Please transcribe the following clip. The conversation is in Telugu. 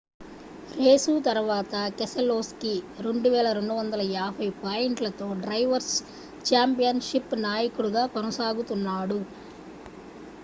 రేసు తరువాత కెసెలోస్కీ 2,250 పాయింట్లతో డ్రైవర్స్ ఛాంపియన్ షిప్ నాయకుడిగా కొనసాగుతున్నాడు